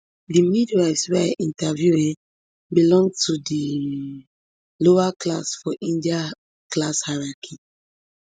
di midwives wey i interview um belong to di um lower class for india class hierarchy